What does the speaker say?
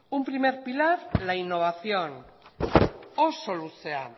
un primer pilar la innovación oso luzea